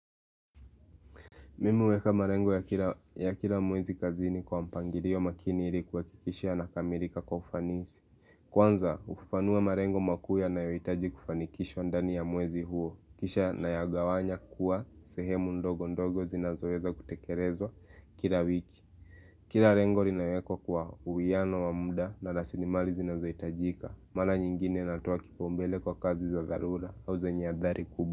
Mimui uweka marengo ya kila mwezi kazini kwa mpangirio makini ili kuhakikisha yanakamirika kwa ufanisi. Kwanza, ufafanua marengo makuu yanayoyitaji kufanikishwa ndani ya mwezi huo. Kisha nayagawanya kuwa sehemu ndogo ndogo zinazoweza kutekerezwa kila wiki. Kira rengo rinawekwa kwa uwiano wa muda na lasilimali zinazoitajika. Mala nyingine natoa kipaumbele kwa kazi za dharura au zenye athari kubwa.